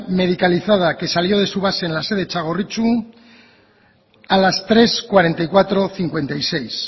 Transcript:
medicalizada que salió de su base en la sede txagorritxu a las tres cuarenta y cuatro cincuenta y seis